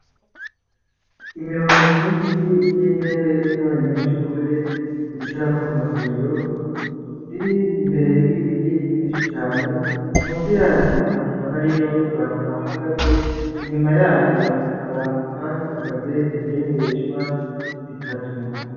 Imirongo myinshi y'intebe z'abanyeshure bicarako mu masomero riri imbere y'ibiti vyinshi cane, musi yavyo hakaba hariyo abantu bahahagaze, inyuma yavyo hakaba hahagaze ingendeshwa zitatu.